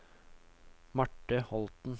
Marte Holten